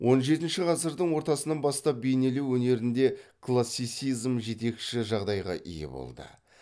он жетінші ғасырдың ортасынан бастап бейнелеу өнерінде классицизм жетекші жағдайға ие болды